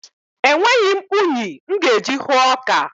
Enweghị m unyi m ga-eji hụọ ọka.